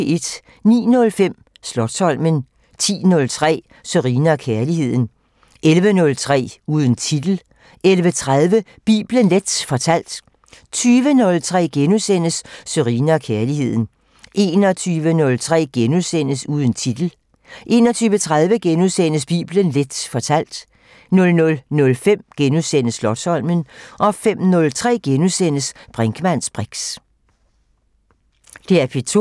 09:05: Slotsholmen 10:03: Sørine & Kærligheden 11:03: Uden titel 11:30: Bibelen Leth fortalt 20:03: Sørine & Kærligheden * 21:03: Uden titel * 21:30: Bibelen Leth fortalt * 00:05: Slotsholmen * 05:03: Brinkmanns briks *